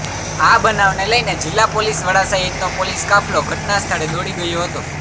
આ બનાવને લઈને જીલ્લા પોલીસ વડા સહિતનો પોલીસ કાફલો ઘટના સ્થળે દોડી ગયો હતો